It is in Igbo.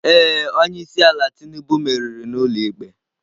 Ee. Onye isi ala Tinubu meriri n'ụlọikpe.